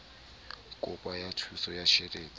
kopo ya thuso ya tjhelete